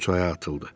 O çaya atıldı.